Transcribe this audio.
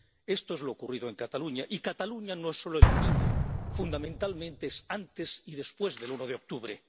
Esto es lo ocurrido en Cataluña, y Cataluña no es solo el domingo fundamentalmente es antes y después del 1 de octubre.